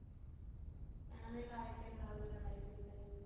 ਇਹਨਾਂ ਦੀ life ਹੀ ਖਰਾਬ ਕਰਨ ਆਈ ਸੀ ਪਤਾ ਨੀ ਉਹ